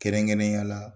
Kɛrɛnkɛrɛnnenya la